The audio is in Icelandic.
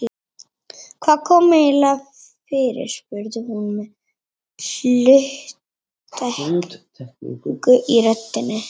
Hvað kom eiginlega fyrir spurði hún með hluttekningu í röddinni.